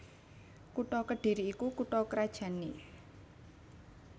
Kutha Kedhiri iku kutha krajanné